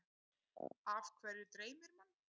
Af hverju dreymir mann?